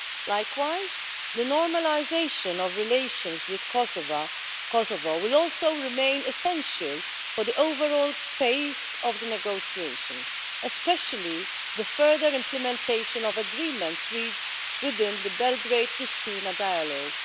Likewise, the normalisation of relations with Kosovo will also remain essential for the overall pace of the negotiations, especially the further implementation of agreements reached within the Belgrade Pristina dialogue.